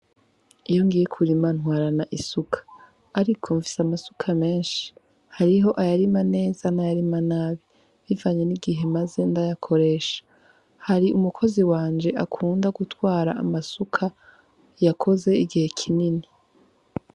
Iyo ngiye kurima ntwarana isuka, ariko mfise amasuka menshi hariho ayarima neza n'ayarima nabi bivanye n'igihe maze ndayakoresha, hari umukozi wanje akunda gutwara amasuka yakoze igihe kinini.